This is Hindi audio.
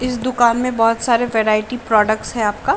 इस दुकान में बहोत सारे वैरायटी प्रोडक्ट्स हैं आपका।